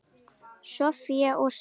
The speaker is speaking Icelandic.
Soffía og synir.